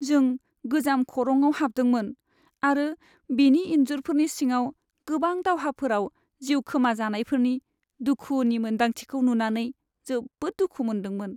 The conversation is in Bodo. जों गोजाम खरंआव हाबदोंमोन आरो बेनि इन्जुरफोरनि सिङाव गोबां दावहाफोराव जिउ खोमाजानायफोरनि दुखुनि मोनदांथिखौ नुनानै जोबोद दुखु मोनदोंमोन।